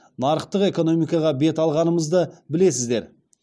нарықтық экономикаға бет алғанымызды білесіздер